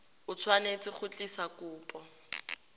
o tshwanetse go tlisa kopo